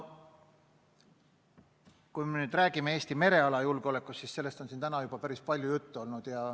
Kui me räägime Eesti mereala julgeolekust, siis sellest on siin täna juba päris palju juttu olnud.